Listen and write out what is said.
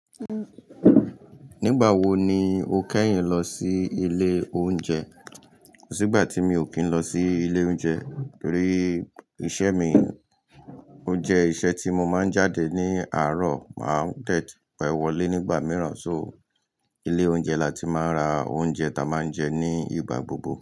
Nígbà wo ni o kẹ́yìn lọ sí ilé oúnjẹ? Tígbà tí mi ò kí n lọ sí ilé oúnjẹ torí iṣẹ́ mi, ó jẹ́ iṣẹ́ tí mo máa ń jáde ní àárọ̀ máa ń dẹ́bẹ̀wọ̀lé nígbà mìíràn, so ilé oúnjẹ láti máa ra oúnjẹ táa n máa ń jẹ ní ìgbà gbogbo.